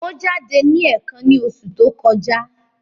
Ó jáde ní ẹ̀ẹ̀kan ní oṣù tó kọjá.